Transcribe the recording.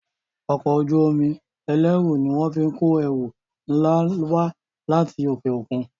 Ọkọ̀ ojú-omi ẹlẹru ní wón fín kọ ẹrù nlá wá láti okeokun.